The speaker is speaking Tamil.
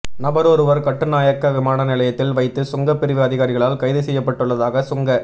நபரொருவர் கட்டுநாயக்க விமான நிலையத்தில் வைத்து சுங்க பிரிவு அதிகாரிகளால் கைதுசெய்யப்பட்டுள்ளதாக சுங்க